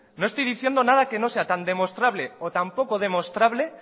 no estoy diciendo nada que no sea tan demostrable o tan poco demostrable